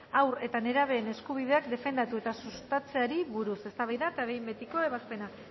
haur eta nerabeen eskubideak defendatu eta sustatzeari buruz eztabaida eta behin betiko ebazpena